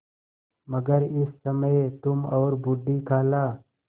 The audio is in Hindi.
मगर इस समय तुम और बूढ़ी खाला